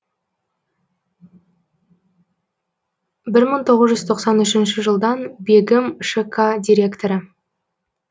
бір мың тоғыз жүз тоқсан үшінші жылдан бегім шк директоры